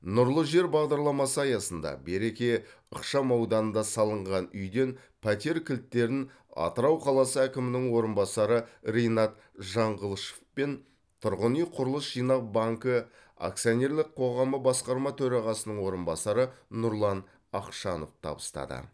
нұрлы жер бағдарламасы аясында береке ықшамауданында салынған үйден пәтер кілттерін атырау қаласы әкімінің орынбасары ринат жаңғылышов пен тұрғын үй құрылыс жинақ банкі акционерлік қоғамы басқарма төрағасының орынбасары нұрлан ақшанов табыстады